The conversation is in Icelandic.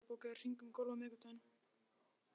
Sigurey, bókaðu hring í golf á miðvikudaginn.